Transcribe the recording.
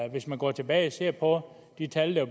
hvis man går tilbage og ser på de tal der